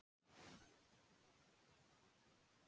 Náttúran skartar sínu fegursta á haustin.